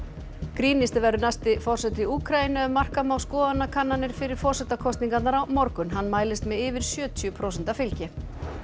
grínisti verður næsti forseti Úkraínu ef marka má skoðanakannanir fyrir forsetakosningarnar á morgun hann mælist með yfir sjötíu prósenta fylgi